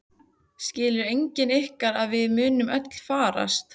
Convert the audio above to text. Skilur enginn ykkar að við munum öll farast?